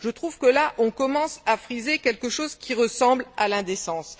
Je trouve que là, on commence à friser quelque chose qui ressemble à l'indécence.